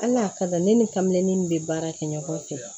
Al'a kada ne ni kame ni n bɛ baara kɛ ɲɔgɔn fɛ